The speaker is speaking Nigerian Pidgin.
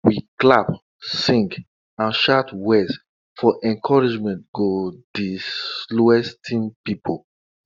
we clap sing and shout words for encouragement go di slowest team pipo